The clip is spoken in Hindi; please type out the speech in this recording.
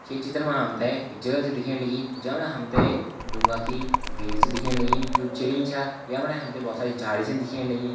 ये चित्र मा हमते एक जगह छ दिखेण लगीं जमणा हमते ढूँगा की भीड़ छ दिखेण लगीं जु छ यमंणा हमते बहोत सारी झाड़ी छ दिखेण लगीं।